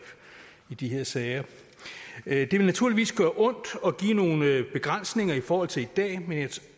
i de her sager det vil naturligvis gøre ondt og give nogle begrænsninger i forhold til i dag